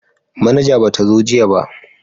Manaja ba ta zo jiya ba